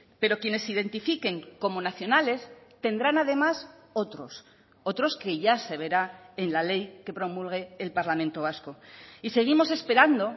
pero quienes identifiquen como nacionales tendrán además otros otros que ya se verá en la ley que promulgue el parlamento vasco y seguimos esperando